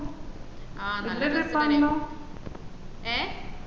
ആഹ് ഏഹ്